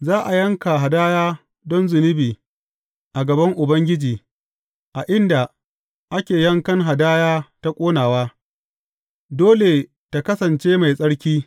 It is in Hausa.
Za a yanka hadaya don zunubi a gaban Ubangiji a inda ake yankan hadaya ta ƙonawa; dole tă kasance mai tsarki.